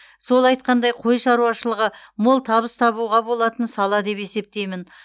сол айтқандай қой шаруашылығы мол табыс табуға болатын сала деп есептеймін